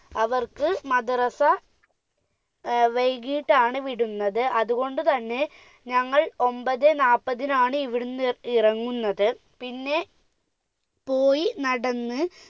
അവർക്ക് മദ്രസ ഏർ വൈകിയിട്ടാണ് വിടുന്നത് അതുകൊണ്ട് തന്നെ ഞങ്ങൾ ഒമ്പതേ നാപ്പതിനാണ് ഇവിടുന്ന് ഇറങ്ങുന്നത് പിന്നെ പോയി നടന്ന്